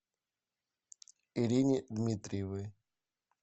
ирине дмитриевой